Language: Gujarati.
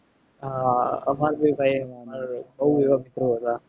હા હમારે ભી ભાઈ બહુ એવા મિત્રો હતા.